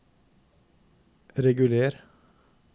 reguler